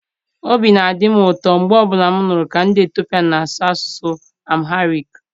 Obi na-adị m ụtọ mgbe ọ bụla m nụrụ ka ndị Etiopia na-asụ asụsụ Amharic.